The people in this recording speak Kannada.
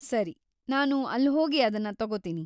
ಸರಿ, ನಾನು ಅಲ್ಹೋಗಿ ಅದನ್ನ ತಗೋತೀನಿ.